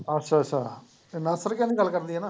ਅੱਛਾ ਅੱਛਾ, ਇਹ ਨਾਸਰ ਕਿਆਂ ਦੀ ਗੱਲ ਕਰਦੀ ਆਂ?